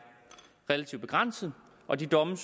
relativt begrænset og de domme